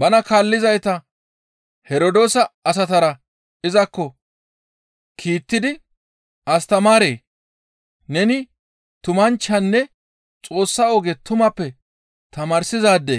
Bana kaallizayta Herdoosa asatara izakko kiittidi, «Astamaaree! Neni tumanchchanne Xoossa oge tumappe tamaarsizaade